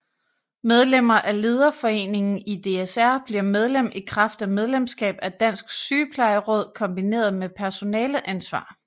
Medlemmer af Lederforeningen i DSR bliver medlem i kraft af medlemskab af Dansk Sygeplejeråd kombineret med personaleansvar